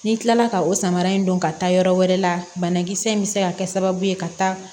Ni n kilala ka o samara in don ka taa yɔrɔ wɛrɛ la banakisɛ in bɛ se ka kɛ sababu ye ka taa